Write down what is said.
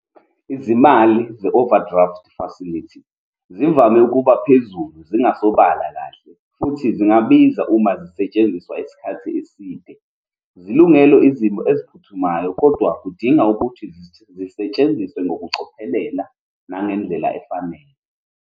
Izimali ze-overdraft facility zivame ukuba phezulu, zingasobala kahle, futhi zingabiza uma zisetshenziswa isikhathi eside. Zilungele izimo eziphuthumayo, kodwa kudinga ukuthi zisetshenziswe ngokucophelela nangendlela efanele.